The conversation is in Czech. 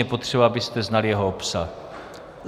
Je potřeba, abyste znali jeho obsah.